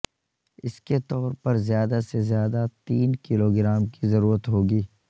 اس کے طور پر زیادہ سے زیادہ تین کلو گرام کی ضرورت ہوگی